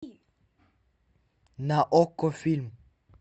на окко фильм